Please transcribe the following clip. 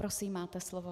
Prosím, máte slovo.